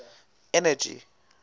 energy